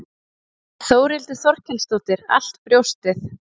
Þórhildur Þorkelsdóttir: Allt brjóstið?